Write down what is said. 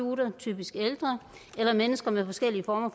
er typisk ældre eller mennesker med forskellige former